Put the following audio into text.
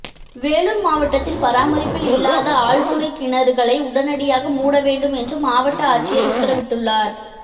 வேலூர் மாவட்டத்தில் பராமரிப்பில் இல்லாத ஆழ்துளைகிணறுகளை உடனடியாக மூட வேண்டும் என்று மாவட்ட ஆட்சியர் உத்தரவிட்டுள்ளார்